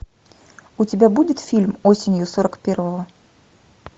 у тебя будет фильм осенью сорок первого